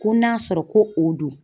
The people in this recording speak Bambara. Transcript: Ko n'a sɔrɔ ko o don.